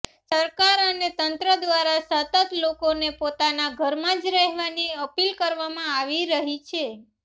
સરકાર અને તંત્ર દ્વારા સતત લોકોને પોતાના ઘરમાં જ રહેવાની અપીલ કરવામાં આવી રહી છે